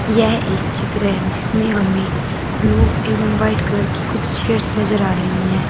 यह एक चित्र है जिसमें हमें ब्लू एवं व्हाइट कलर की कुछ चेयर्स नजर आ रही है।